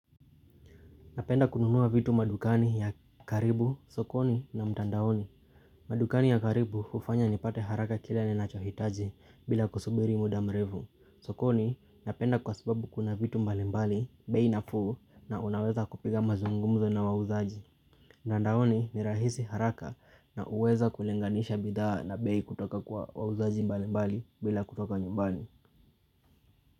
Napenda kununuwa vitu madukani ya karibu, sokoni na mtandaoni. Madukani ya karibu ufanya ni pate haraka kila ni nacho hitaji bila kusubiri muda mrevu. Sokoni napenda kwa sababu kuna vitu mbali mbali, bei nafuu na unaweza kupiga mazungumzo na wauzaji. Mtandaoni ni rahisi haraka na uweza kulenganisha bidhaa na bei kutoka kwa wauzaji mbali mbali bila kutoka nyumbani.